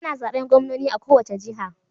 Ana zaben gwamnoni a kowace jiha.